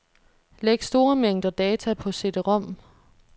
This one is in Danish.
Læg store mængder data på cd-rom.